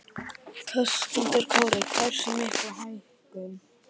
Höskuldur Kári: Hversu mikla hækkun?